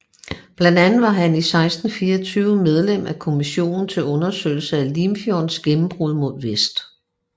Blandt andet var han i 1624 medlem af Kommissionen til Undersøgelse af Limfjordens Gennembrud mod Vest